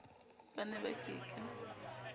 ba ne ba ke ke